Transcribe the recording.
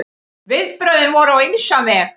Viðbrögðin voru á ýmsan veg.